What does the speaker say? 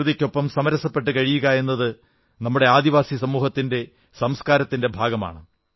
പ്രകൃതിക്കൊപ്പം സമരസപ്പെട്ട് കഴിയുകയെന്നത് നമ്മുടെ ആദിവാസി സമൂഹത്തിന്റെ സംസ്കാരത്തിന്റെ ഭാഗമാണ്